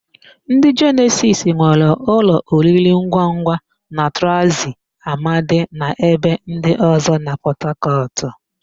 Ndị Jenesis nwere ụlọ oriringwangwa na Transi Amadi na ebe ndị ọ̀zọ́ na Pọtakọtụ.